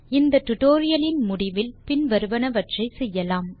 இந்த டுடோரியலின் முடிவில் பின் வருவனவற்றை செய்யலாம்